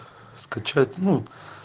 скачать ну